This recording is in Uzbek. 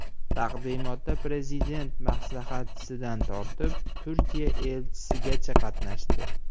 Taqdimotda prezident maslahatchisidan tortib, Turkiya elchisigacha qatnashdi.